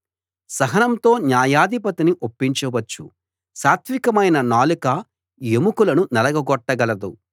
సహనంతో న్యాయాధిపతిని ఒప్పించవచ్చు సాత్వికమైన నాలుక ఎముకలను నలగగొట్టగలదు